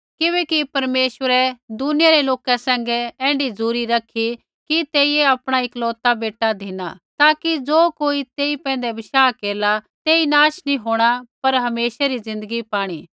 किबैकि परमेश्वरै दुनिया रै लोका सैंघै ऐण्ढी झ़ुरी रखी कि तेइयै आपणा इकलौता बेटा धिना ताकि ज़ो कोई तेई पैंधै बशाह केरला तेई नाश नैंई होंणा पर हमेशा री ज़िन्दगी पाणी